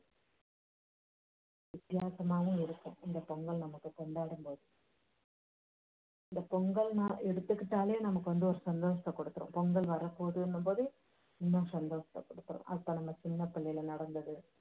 வித்தியாசமா இருக்கும் நம்ம இந்த பொங்கல் நமக்கு கொண்டாடும் போது இந்த பொங்கல்னாலே எடுத்துக்கிட்டாலே நமக்கு வந்து ஒரு சந்தோஷத்தை கொடுத்துரும். பொங்கல் வரப்போகுதுன்னும் போதே இன்னும் சந்தோஷத்தை கொடுத்துரும். அப்போ நம்ம சின்னப் புள்ளையில நடந்தது